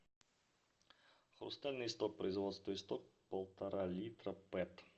хрустальный истоп производство истоп полтора литра пэт